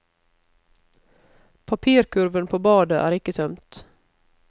Papirkurven på badet er ikke tømt.